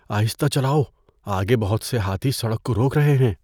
آہستہ چلاؤ۔ آگے بہت سے ہاتھی سڑک کو روک رہے ہیں۔